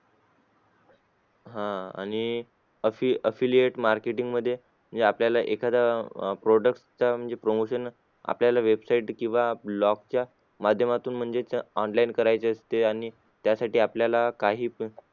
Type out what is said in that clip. आह आणि affi affiliate marketing मध्ये म्हणजे आपल्याला एखादा अह product म्हणजे promotion आपल्या website किंवा blog माध्यमातून म्हणजेच online करायचे असते आणि त्यासाठी आपल्याला काही